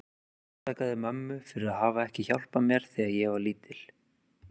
Ég ásakaði mömmu fyrir að hafa ekki hjálpað mér þegar ég var lítil.